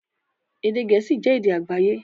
Èdè Gẹ̀ẹ́sì jẹ́ èdè àgbáyé